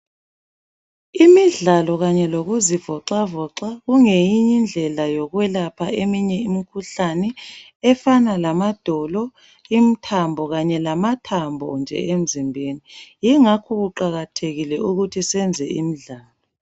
Imidlalo kanye lokuzivoxavoxa kungeyinye indlela yokwelapha imikhuhlane efana lamadolo, imithambo kanye lamathambo nje emzimbeni yingakho kuqakathekile ukuthi senze imidlalo.